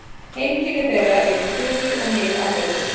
Heimkynni þeirra eru í Suður- og Mið-Ameríku.